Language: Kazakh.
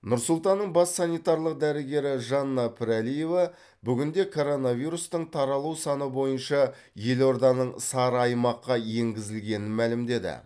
нұр сұлтанның бас санитарлық дәрігері жанна пірәлиева бүгінде коронавирустың таралу саны бойынша елорданың сары аймаққа енгізілгенін мәлімдеді